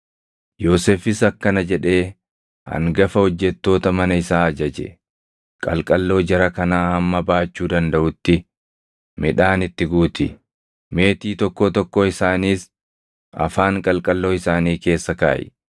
Yoosefis akkana jedhee hangafa hojjettoota mana isaa ajaje; “Qalqalloo jara kanaa hamma baachuu dandaʼutti midhaan itti guuti; meetii tokkoo tokkoo isaaniis afaan qalqalloo isaanii keessa kaaʼi.